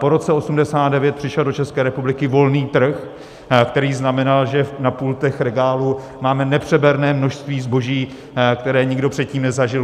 Po roce 1989 přišel do České republiky volný trh, který znamenal, že na pultech regálů máme nepřeberné množství zboží, které nikdo předtím nezažil.